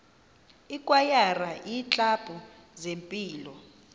ikwayara iiklabhu zempilo